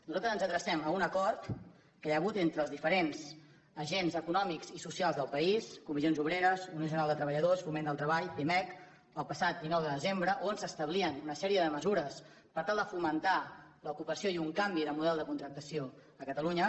nosaltres ens adrecem a un acord que hi ha hagut entre els diferents agents econòmics i socials del país comissions obreres unió general de treballadors foment del treball pimec el passat dinou de desembre on s’establien una sèrie de mesures per tal de fomentar l’ocupació i un canvi de model de contractació a catalunya